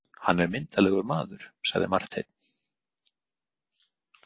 Hann er myndarlegur maður, sagði Marteinn.